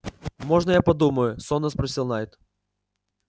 можно я подумаю сонно спросил найд